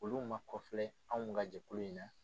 Olu ma kɔfi anw ka jɛkulu in na